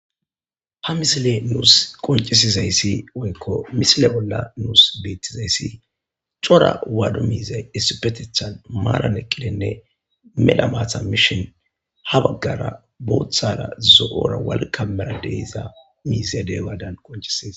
ha misile nuus qoncisizayssi woykko misile bolla nuus beettizayssi cora waadu miizey issupetethan maaran eqqilenne mela maatha mishin ha baggara booththara zo7ora walkamera deysa miizedey waadan qoncisizas